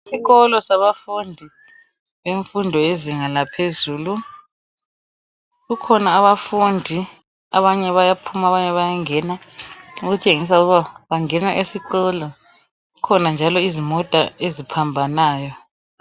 Isikolo sabafundi bemfundo yezinga laphezulu, kukhona abafundi abanye bayaphuma abanye bayangena, okutshengisa ukuba bangena esikolo. Kukhona njalo izimota eziphambanayo.